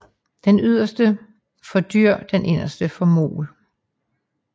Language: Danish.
Den yderste for dur og den inderste for mol